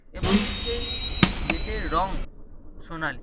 এবং সেই গেট -এর রং সোনালী।